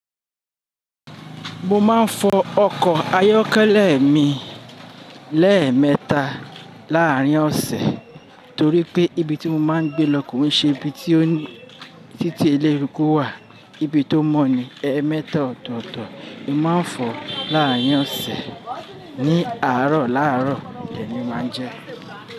Mo máa ń fọ ọkọ̀ ayọ́kẹ́lẹ́ mi lẹ́ẹ̀mẹta láàárín ọ̀sẹ̀ torí pé ibi tí mo máa ń gbé lọ kò ní ṣe ibi tí títí eléruko wà. Ibi tó mọ́ ni ẹẹ́mẹta ọ̀tọ̀ọ̀tọ̀ mo máa ń fọ láàárín ọ̀sẹ̀ ní àárọ̀ láàárọ̀, dẹ́ẹ̀ ni mo máa ń jẹ́